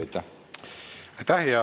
Aitäh!